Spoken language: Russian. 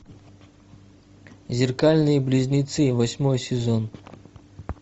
зеркальные близнецы восьмой сезон